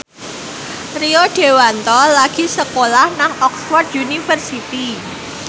Rio Dewanto lagi sekolah nang Oxford university